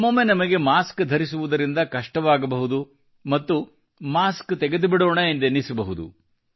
ಒಮ್ಮೊಮ್ಮೆ ನಮಗೆ ಮಾಸ್ಕ್ ಧರಿಸುವುದರಿಂದ ಕಷ್ಟವಾಗಬಹುದು ಮತ್ತು ಮಾಸ್ಕ ತೆಗೆದುಬಿಡೋಣ ಎಂದೆನ್ನಿಸಬಹುದು